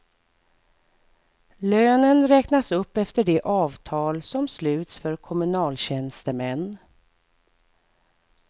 Lönen räknas upp efter de avtal som sluts för kommunaltjänstemän.